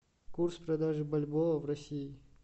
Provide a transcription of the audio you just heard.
курс продажи бальбоа в россии